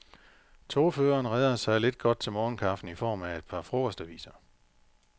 Togføreren redder sig lidt godt til morgenkaffen i form af et par frokostaviser.